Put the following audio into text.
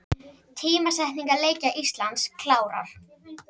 Tímasetningar leikja Íslands klárar